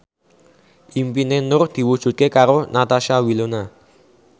impine Nur diwujudke karo Natasha Wilona